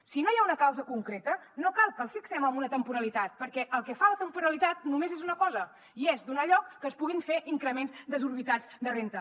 si no hi ha una causa concreta no cal que els fixem en una temporalitat perquè el que fa la temporalitat només és una cosa i és donar lloc que es puguin fer increments desorbitats de renda